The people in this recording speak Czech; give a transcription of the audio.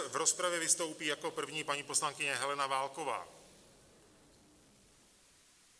A v rozpravě vystoupí jako první paní poslankyně Helena Válková.